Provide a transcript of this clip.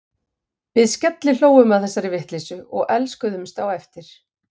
Við skellihlógum að þessari vitleysu og elskuðumst á eftir.